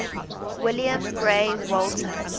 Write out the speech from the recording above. william grey walter